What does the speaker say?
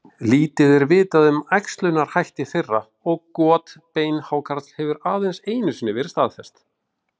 Lítið er vitað um æxlunarhætti þeirra og got beinhákarls hefur aðeins einu sinni verið staðfest.